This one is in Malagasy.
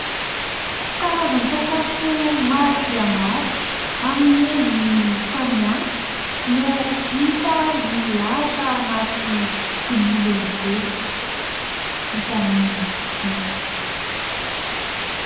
Karazan-tsakafo maro dia maro amin'ny endriny samihafa no hita milahatra anaty vilia lehibe vita amin'ny vỳ.